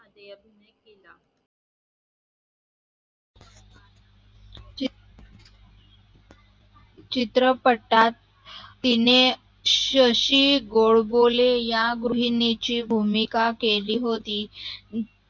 ची चित्रपटात तिने शशी गोडबोले या गृहिनीची भूमिका केली होती